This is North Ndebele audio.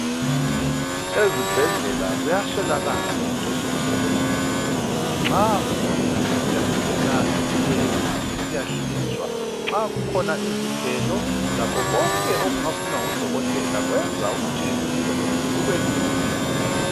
Ezibhedlela kuyaswelakala into zokusebenzisa. Nxa umuntu esiyangena etheatre esiyahlinzwa, nxa kukhona izigelo lakho konke okungafunwa ngudokotela kwenza ukuthi umsebenzi ubelula.